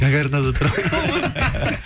гагаринада тұрамын